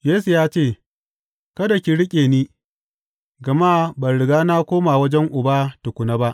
Yesu ya ce, Kada ki riƙe ni, gama ban riga na koma wajen Uba tukuna ba.